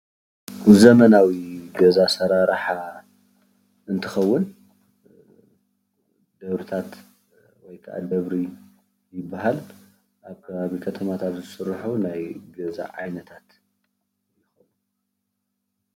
ዘበናዊ ገዛ አሰራርሓ እንትከውን ደብሪታት ወይ ከዓ ደብሪ ይበሃል፡፡ ኣብ ከባቢ ከተማታት ዝስርሑ ናይ ገዛ ዓይነታት